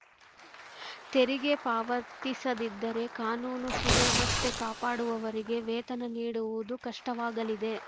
ತೆರಿಗೆ ಪಾವತಿಸದಿದ್ದರೆ ಕಾನೂನು ಸುವ್ಯವಸ್ಥೆ ಕಾಪಾಡುವವರಿಗೆ ವೇತನ ನೀಡುವುದು ಕಷ್ಟವಾಗಲಿದೆ